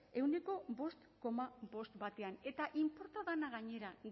ehuneko bost koma bost batean eta inporta dena gainera